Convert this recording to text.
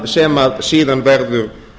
sem síðan verður